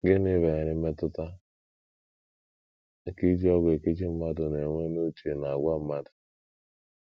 Gịnị banyere mmetụta nke iji ọgwụ ekechi mmadụ na - enwe n’uche na àgwà mmadụ?